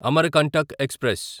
Amarkantak express